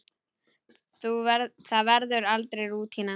Það verður aldrei rútína.